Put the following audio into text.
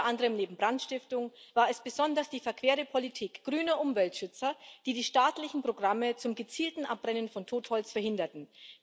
Unter anderem war es neben Brandstiftung besonders die verquere Politik grüner Umweltschützer, die die staatlichen Programme zum gezielten Abbrennen von Totholz verhinderten.